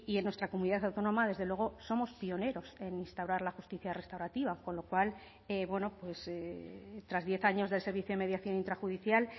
en nuestra comunidad autónoma desde luego somos pioneros en instaurar la justicia restaurativa con lo cual bueno tras diez años de servicio y mediación intrajudicial